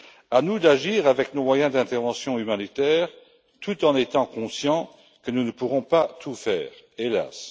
À nous d'agir avec nos moyens d'intervention humanitaire, tout en étant conscients que nous ne pourrons pas tout faire, hélas.